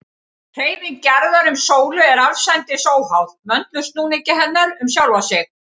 Hreyfing jarðar um sólu er allsendis óháð möndulsnúningi hennar um sjálfa sig.